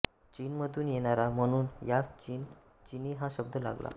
चिन मधुन येणारा म्हणुन यास चिनी हा शब्द लागला